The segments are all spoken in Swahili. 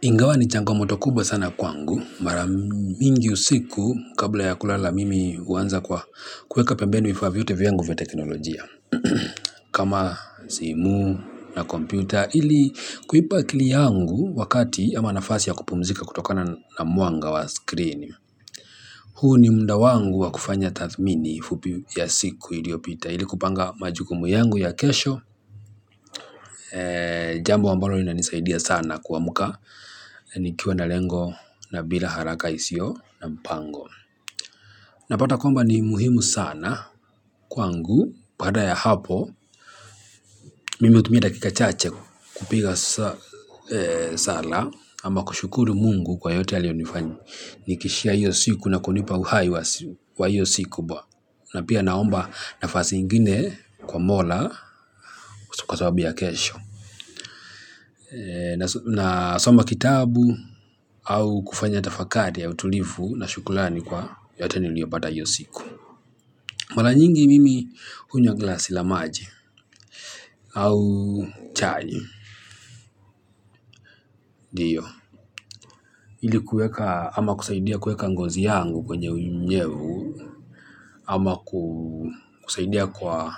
Ingawa ni changomoto kubwa sana kwangu. Mara mingi usiku kabla ya kulala mimi huanza kwa kuweka pembeni vifaa vyote vyangu vya teknolojia. Kama simu na kompyuta ili kuipa akili yangu wakati ama nafasi ya kupumzika kutokana na mwanga wa screen huu ni muda wangu wa kufanya tathmini fupi ya siku iliyopita ili kupanga majukumu yangu ya kesho. Jambo ambalo lina nisaidia sana kuamuka. Nikiwa na lengo na bila haraka isio na mpango napata kwamba ni muhimu sana kwangu baada ya hapo mimi hutumia dakika chache kupiga sala ama kushukuru Mungu kwa yote aliyonifakinishia hiyo siku na kunipa uhai wa hiyo siku. Napia naomba nafasi ingine kwa Mola kwa sababu ya kesho. Nasoma kitabu au kufanya tafakari ya utulivu na shukurani kwa yote niliyopata hiyo siku. Mara nyingi mimi hunywa glasi la maji au chai ndio ili kuweka ama kusaidia kuweka ngozi yangu kwenye unyevu. Ama kusaidia kwa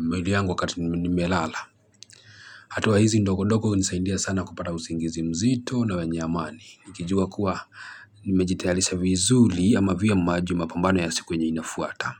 mwili yangu wakati nimelala. Hatua hizi ndogondogo hunisaidia sana kupata usingizi mzito na wenye amani. Nikijua kuwa nimejitayalisha vizuri ama vyema juu ya mapambano ya siku yenye inafuata.